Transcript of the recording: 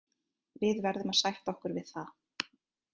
Við verðum að sætta okkur við það.